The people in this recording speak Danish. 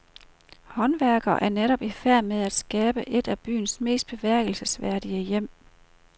Håndværkere er netop i færd med at skabe et af byens mest bemærkelsesværdige hjem.